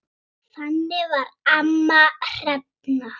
Þannig var amma Hrefna.